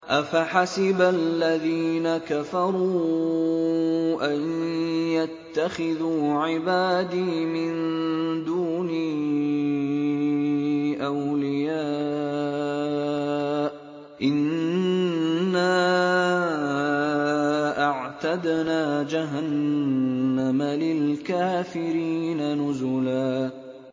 أَفَحَسِبَ الَّذِينَ كَفَرُوا أَن يَتَّخِذُوا عِبَادِي مِن دُونِي أَوْلِيَاءَ ۚ إِنَّا أَعْتَدْنَا جَهَنَّمَ لِلْكَافِرِينَ نُزُلًا